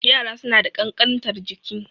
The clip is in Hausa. Yara suna da ƙankantar jiki